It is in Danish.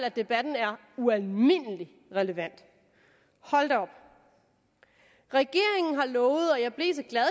at debatten er ualmindelig relevant hold da op regeringen har lovet og jeg blev så glad